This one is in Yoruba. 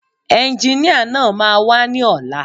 Ẹnginíà náà máa wá ní ọ̀la